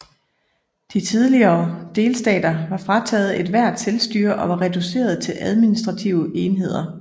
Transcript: De tidligere delstater var frataget ethvert selvstyre og var reduceret til administrative enheder